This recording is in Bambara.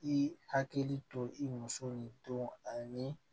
I hakili to i muso nin don ani